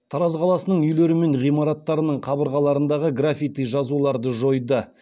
тараз қаласының үйлері мен ғимараттарының қабырғаларындағы граффити жазуларды жойды